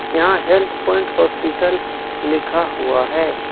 यहां health point hospital लिखा हुआ है।